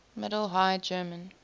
middle high german